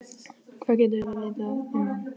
Hvað getum við vitað um hann?